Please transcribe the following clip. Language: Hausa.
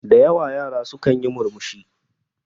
Da yawa yara su kanyi murmushi